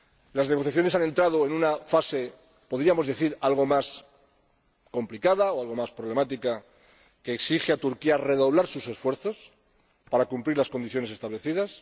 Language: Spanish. Las negociaciones han entrado en una fase —podríamos decir— algo más complicada o algo más problemática, que exige a Turquía redoblar sus esfuerzos para cumplir las condiciones establecidas.